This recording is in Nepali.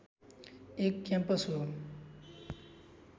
एक क्याम्पस हो